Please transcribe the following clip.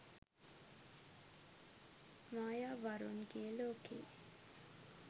mayavarunge loke